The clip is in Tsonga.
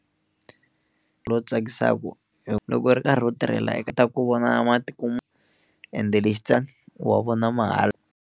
Lowu tsakisaku loko ri karhi u tirhela ta ku vona matiko ende wa vona mahala.